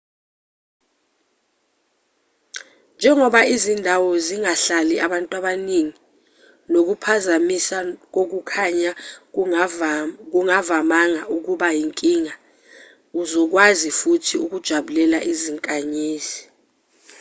njengoba izindawo zingahlali abantu abaningi nokuphazamisa kokukhanya kungavamanga ukuba inkinga uzokwazi futhi ukujabulela izinkanyezi